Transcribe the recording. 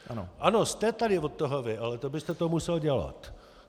Ano, jste tady od toho vy, ale to byste to musel dělat.